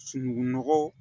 Sunugunɔgɔ